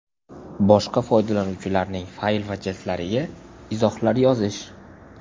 Boshqa foydalanuvchilarning fayl va jildlariga izohlar yozish .